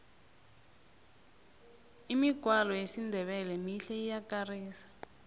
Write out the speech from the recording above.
imigwalo yesindebele mihle iyakarisa